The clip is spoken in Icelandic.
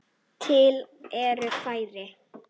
Til eru fræ.